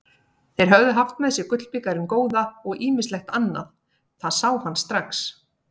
Þeir höfðu haft með sér gullbikarinn góða og ýmislegt annað, það sá hann strax.